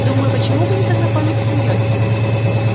думаю почему бы не познакомить с семьёй